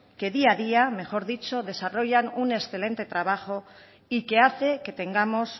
que día a día desarrollan un excelente trabajo y que hace que tengamos